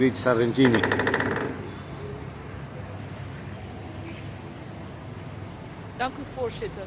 Voorzitter, de Sinaï is een onveilige plek en niet alleen voor Europese toeristen.